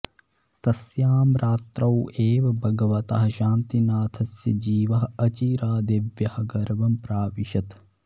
तस्यां रात्रौ एव भगवतः शान्तिनाथस्य जीवः अचिरादेव्याः गर्भं प्राविशत्